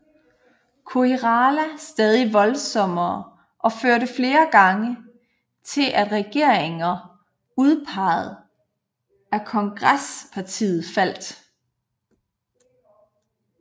Koirala stadig voldsommere og førte flere gange til at regeringer udpeget af Kongresspartiet faldt